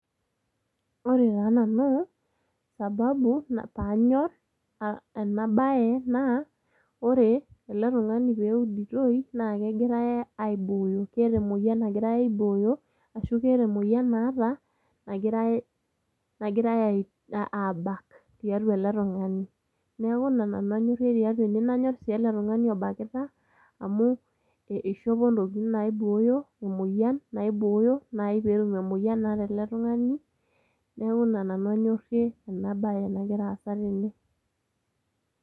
Ore taa nanu sababu panyor ena bae naa .Ore ele tungani peuditoi naa kegirae aibooyo, keeta emoyian nagirae aibooyo, ashu keeta emoyian naata nagirae abak tiatua ele tungani. Niaku ina nanu anyorie tiatua ene ,nanyor sii eletungani obakita amu eishopo intokitin naibooyo ,emoyian naibooyo nai petum emoyian naata ele tungani .Niaku ina nanu anyorie ena bae nagira aasa tene.